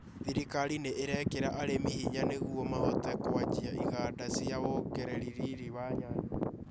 Thirikari ni irekira arĩmi hinya nĩguo mahote kũanjia iganda cia wongereri riri wa nyanya